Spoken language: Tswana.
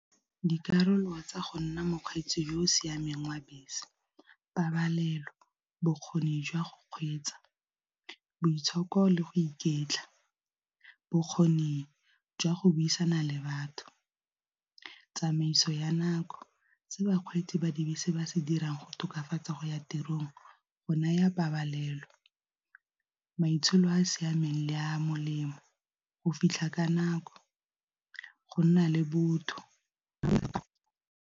Dikarolo tsa go nna mokgwetsi yo o siameng wa bese pabalelo, bokgoni jwa go kgweetsa, boitshoko le go iketla, bokgoni jwa go buisana le batho, tsamaiso ya nako. Se bakgweetsi ba dibese se ba se dirang go tokafatsa go ya tirong go naya pabalelo, maitsholo a a siameng le a molemo, go fitlha ka nako, go nna le botho.